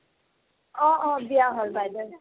অ অ বিয়া হ'ল বাইদেউৰ